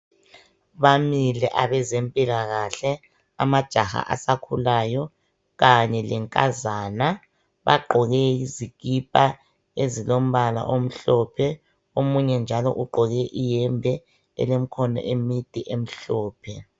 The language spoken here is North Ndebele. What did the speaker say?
Bamile abezempilakahle, amajaha asakhulayo kanye lenkazana. Bagqoke izikipa ezilombala omhlophe, omunye njalo ugqoke iyembe elemikhono emide emhlophe.